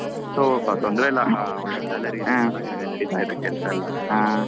so ತೊಂದ್ರೆ ಇಲ್ಲ ಆ ಒಳ್ಳೆ salary ಇದೆ ಚೆನ್ನಾಗಿ ನಡಿತಾ ಇದೆ ಕೆಲಸ ಎಲ್ಲ.